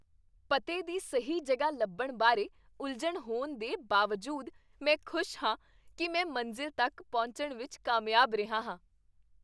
ਪਤੇ ਦੀ ਸਹੀ ਜਗ੍ਹਾ ਲੱਭਣ ਬਾਰੇ ਉਲਝਣ ਹੋਣ ਦੇ ਬਾਵਜੂਦ, ਮੈਂ ਖੁਸ਼ ਹਾਂ ਕੀ ਮੈਂ ਮੰਜ਼ਿਲ ਤੱਕ ਪਹੁੰਚਣ ਵਿੱਚ ਕਾਮਯਾਬ ਰਿਹਾ ਹਾਂ।